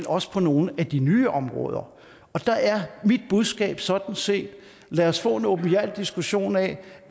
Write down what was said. også på nogle af de nye områder og der er mit budskab sådan set at lad os få en åbenhjertig diskussion af